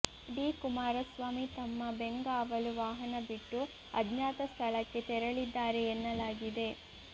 D Kumaraswamy ತಮ್ಮ ಬೆಂಗಾವಲು ವಾಹನ ಬಿಟ್ಟು ಅಜ್ಞಾತ ಸ್ಥಳಕ್ಕೆ ತೆರಳಿದ್ದಾರೆ ಎನ್ನಲಾಗಿದೆ